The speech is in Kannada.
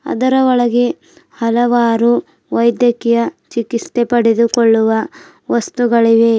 ಅದರ ಒಳಗೆ ಹಲವಾರು ವೈದ್ಯಕೀಯ ಚಿಕಿತ್ಸೆ ಪಡೆದುಕೊಳ್ಳುವ ವಸ್ತುಗಳಿವೆ.